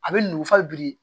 A bɛ nugu fa biri